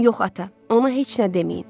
Yox, ata, ona heç nə deməyin.